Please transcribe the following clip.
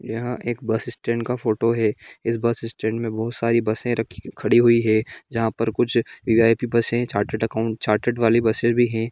यह एक bus stand का फोटो है इस बस स्टैंड में बहुत सारी बसें रखी खड़ी हुई हैजहां पर कुछ वि.आई.पि.बसें चार्टेड अकाउंटेंट चार्टेड वाली बसें भी है |